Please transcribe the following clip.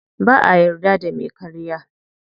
Ba'a yarda da me karya.